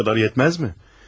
Bu qədər yetməz mi?